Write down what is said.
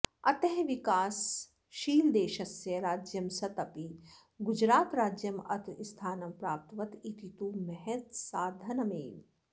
अतः विकासशीलदेशस्य राज्यं सत् अपि गुजरातराज्यम् अत्र स्थानं प्राप्तवत् इति तु महत्साधनमेव